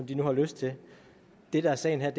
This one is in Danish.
de nu har lyst til det der er sagen her